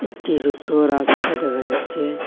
একটি ছোট্ট রাস্তা দেখা যাচ্ছে।